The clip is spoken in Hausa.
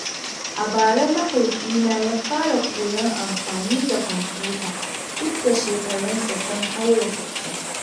A bara, Mahaifina ya fara koyon amfani da kwamfuta duk da shekarunsa sun haura sittin.